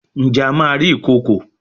Njé a má rí Ìkokò?